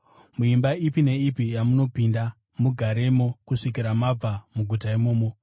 Muimba ipi neipi yamunopinda, mugaremo kusvikira mabva muguta imomo.